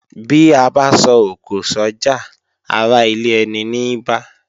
Bí abá so òkò sójà ará ilé eni ní bá